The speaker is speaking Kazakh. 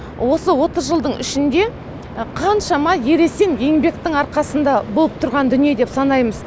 осы отыз жылдың ішінде қаншама ересен еңбектің арқасында болып тұрған дүние деп санаймыз